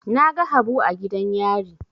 Na ga Habu a gidan yari.